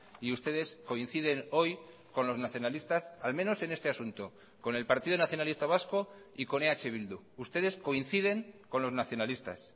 y ustedes coinciden hoy con los nacionalistas al menos en este asunto con el partido nacionalista vasco y con eh bildu ustedes coinciden con los nacionalistas